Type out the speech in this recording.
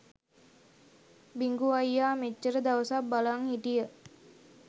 බිඟු අයියා මෙච්චර දවසක් බලන් හිටිය